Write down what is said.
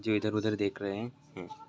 जो इधर उधर देख रहे हैं।